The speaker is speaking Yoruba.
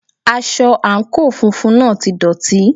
Aṣọ àǹkóò funfun náà ti dọ̀tí.